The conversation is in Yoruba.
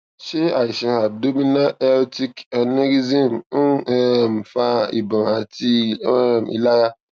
ṣé àìsàn abdominal aortic aneurysm ń um fa ìbòn àti um ìlara